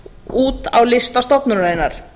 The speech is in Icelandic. út á lista stofnunarinnar